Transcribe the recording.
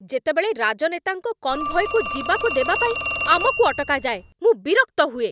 ଯେତେବେଳେ ରାଜନେତାଙ୍କ କନ୍‌ଭୟ୍‌କୁ ଯିବାକୁ ଦେବା ପାଇଁ ଆମକୁ ଅଟକାଯାଏ, ମୁଁ ବିରକ୍ତ ହୁଏ